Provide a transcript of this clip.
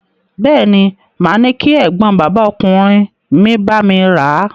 Bẹ́ẹ̀ ni, màá ní kí ẹ̀gbọ́n bàbá ọkùnrin mi bá mi rà a.